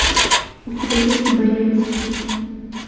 у тебя есть боец